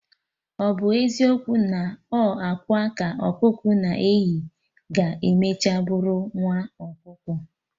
Ọbụ eziokwu na ọ akwa ka ọkụkọ na-eyi, ga-emecha bụrụ nwa ọkụkọ?